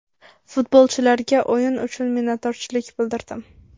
Futbolchilarga o‘yin uchun minnatdorchilik bildirdim.